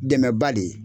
Dɛmɛba de ye